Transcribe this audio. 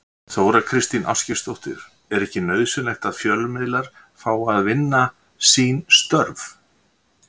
Þóra Kristín Ásgeirsdóttir: Er ekki nauðsynlegt að fjölmiðlar fái að vinna sín störf?